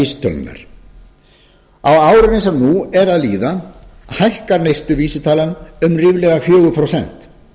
á árinu sem nú er að líða hækkar neysluvísitalan um ríflega fjögur prósent